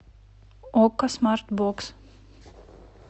окко смарт бокс